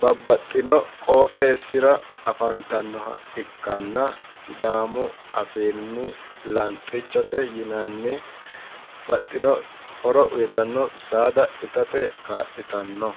babbaxitino qooxxesira afantanota ikkittanna sidaamu afiinni lanxichote yinanni, horo uytanno saada itate kaa'litanno